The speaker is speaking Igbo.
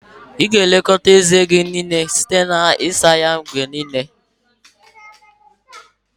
Ị ga-elekọta eze gị anya site n'isa ya ụbọchị niile